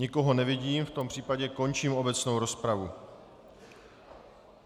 Nikoho nevidím, v tom případě končím obecnou rozpravu.